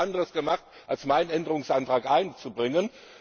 Wir haben nichts anderes gemacht, als meinen Änderungsantrag einzubringen.